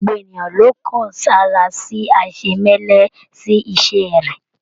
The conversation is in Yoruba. Gbogbo ènìyàn ló n kan sára sí aisemẹlẹ sí iṣẹ rẹ.